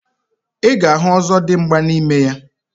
Iga ahụ ozodimgba na ime ya.